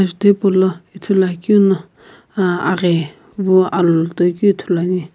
tho hipaulo ithuluakeuno uh aghi vu alu toikeu ithuluani.